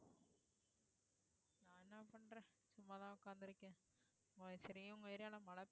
சும்மா தன உக்காந்து இருக்கேன். சரி உங்க area ல மழை பெய்யுது